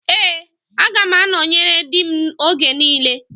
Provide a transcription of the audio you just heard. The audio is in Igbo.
Ee, aga m anọnyere di m oge niile